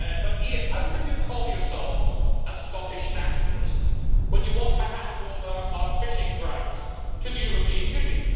But, Ian, how can you call yourself a Scottish Nationalist when you want to hand over our fishing grounds to the European Union?